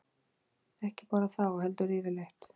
Ekki bara þá, heldur yfirleitt.